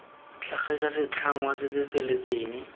tlhagisa setlhangwa se se feletseng